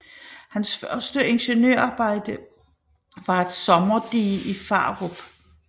Hans første ingeniørarbejde var et sommerdige i Farup